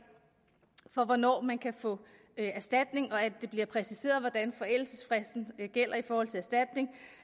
for hvornår man kan få erstatning og at det bliver præciseret hvordan forældelsesfristen gælder i forhold til erstatning